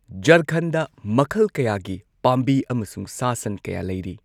ꯓꯥꯔꯈꯟꯗ ꯃꯈꯜ ꯀꯌꯥꯒꯤ ꯄꯥꯝꯕꯤ ꯑꯃꯁꯨꯡ ꯁꯥ ꯁꯟ ꯀꯌꯥ ꯂꯩꯔꯤ꯫